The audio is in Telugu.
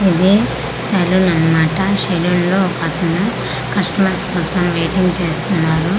ఇది సెలూన్ అన్మాట సెలూన్ లో ఒకతను కస్టమర్స్ కోసమని వెయిటింగ్ చేస్తున్నారు.